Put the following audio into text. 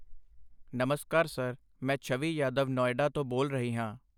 ਨਮਸਕਾਰ ਸਰ, ਮੈਂ ਛਵੀ ਯਾਦਵ ਨੌਇਡਾ ਤੋਂ ਬੋਲ ਰਹੀ ਹਾਂ।